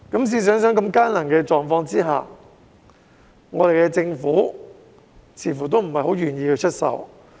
試想想，在如此艱難的狀況下，政府似乎仍然不太願意出手。